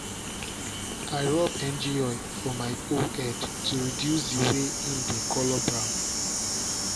i rub engine oil for my hoe head to reduce the way em dey colour brown.